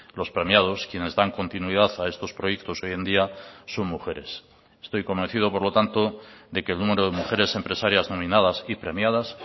los premiados quienes dan continuidad a estos proyectos hoy en día son mujeres estoy convencido por lo tanto de que el número de mujeres empresarias nominadas y premiadas